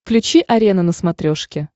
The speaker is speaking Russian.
включи арена на смотрешке